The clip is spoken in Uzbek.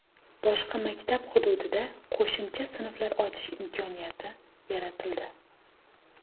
Boshqa maktab hududida qo‘shimcha sinflar ochish imkoniyati yaratildi.